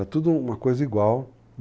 É tudo uma coisa igual.